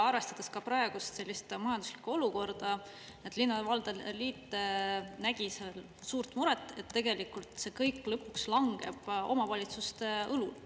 Arvestades ka praegust majanduslikku olukorda linnade liit nägi suurt muret, et tegelikult see kõik lõpuks langeb omavalitsuste õlule.